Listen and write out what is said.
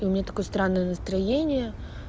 у меня такое странное настроение